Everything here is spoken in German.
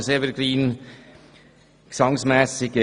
Der Vorstoss ist ein bisschen ein «Evergreen».